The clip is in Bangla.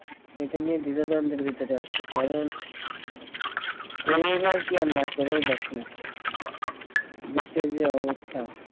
সেইটা নিয়ে দ্বিধাদ্বন্দ্বের ভিতরে আছি কারণ college আর কি আর না করে বাকি দেশের যে অবস্থা